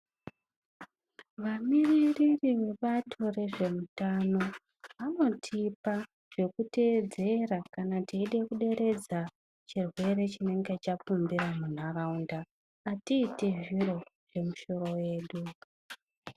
Vamiririri vebato rezveutano vanotipa zvekuteedzera kana teida kuderedza chirwere chinenge chapumbira munharaunda, atiiti zviro zvemisoro yedu.